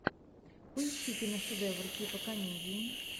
поищи киношедевр типа комедии